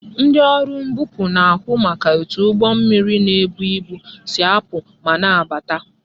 Ndị ọrụ mbupu na-ahụ maka etu ụgbọ mmiri na ibu si apụ ma na abata